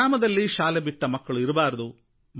ಗ್ರಾಮದಲ್ಲಿ ಶಾಲೆಬಿಟ್ಟ ಮಕ್ಕಳು ಇರಬಾರದು